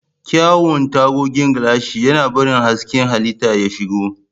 Kyawun tagogin gilashi, yana barin hasken halitta ya shigo.